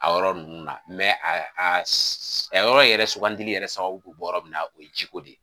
A yɔrɔ ninnu na a a a yɔrɔ yɛrɛ sugandili yɛrɛ sababu bɛ bɔ yɔrɔ min na o ye jiko de ye.